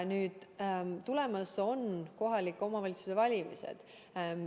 Nüüd, tulemas on kohaliku omavalitsuse valimised.